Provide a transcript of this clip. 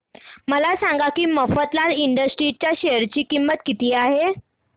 हे सांगा की मफतलाल इंडस्ट्रीज च्या शेअर ची किंमत किती आहे